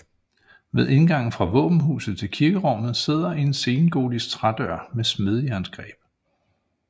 Ved indgangen fra våbenhuset til kirkerummet sidder en sengotisk trædør med smedejernsgreb